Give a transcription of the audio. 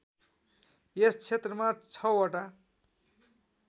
यस क्षेत्रमा ६ वटा